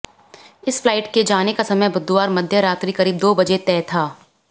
इस फ्लाइट के जाने का समय बुधवार मध्य रात्रि करीब दो बजे तय था